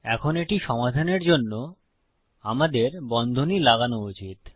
এখন এটি সমাধানের জন্য আমাদের বন্ধনী লাগানো উচিত